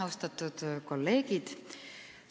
Austatud kolleegid!